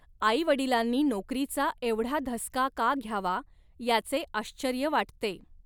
आईवडिलांनी नोकरीचा एवढा धसका का घ्यावा, याचे आश्चर्य वाटते.